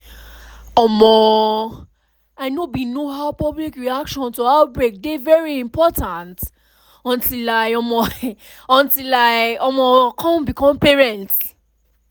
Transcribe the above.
um i know bin know how public reaction to outbreak dey very important until i um until i um come become parents